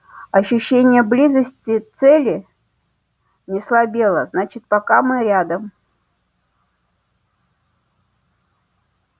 ощущение близости цели не слабело значит пока мы рядом